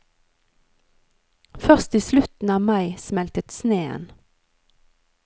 Først i slutten av mai smeltet sneen.